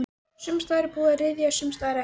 Sums staðar var búið að ryðja, sums staðar ekki.